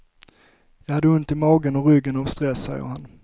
Jag hade ont i magen och ryggen av stress, säger han.